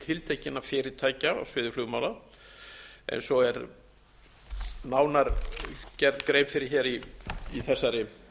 tiltekinna fyrirtækja á sviði flugmála eins og er nánar gerð grein fyrir hér í þessari